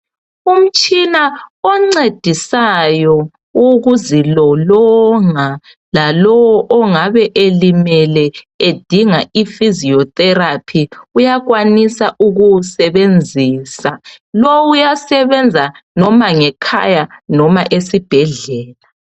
Umtshina oncedisayo ukuzilolonga lalowo ingabe ilimele edinga i fiziyo theraphi uyakwanisa ukuwusebenzisa lo uyasebenza loba ngekhaya loba esibhedlela.